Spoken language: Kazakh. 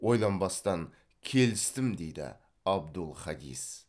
ойланбастан келістім дейді абдул хадис